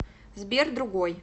сбер другой